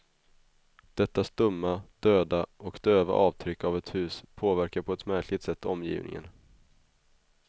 Detta stumma, döda och döva avtryck av ett hus påverkar på ett märkligt sätt omgivningen.